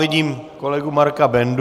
Vidím kolegu Marka Bendu.